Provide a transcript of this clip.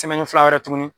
fila wɛrɛ tuguni